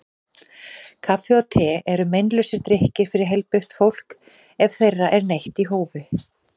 Kaffi og te eru meinlausir drykkir fyrir heilbrigt fólk ef þeirra er neytt í hófi.